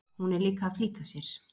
Hún er líka að flýta sér.